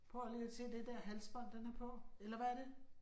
Prøv lige at se det der halsbånd den har på, eller hvad er det?